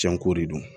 Janko de don